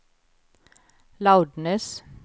loudness